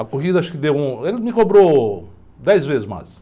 A corrida acho que deu um... Ele me cobrou dez vezes mais.